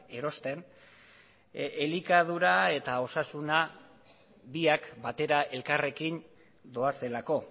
erosten elikadura eta osasuna biak batera elkarrekin doazelako